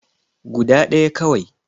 Guda ɗaya kawai